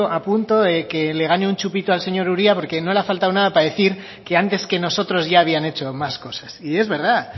a punto de que le gane un chupito al señor uria porque no le ha faltado nada para decir que antes que nosotros ya habían hecho más cosas y es verdad